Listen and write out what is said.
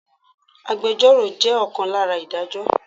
Agbẹjoro jẹ́ ọ̀kan lára Ìdájọ́.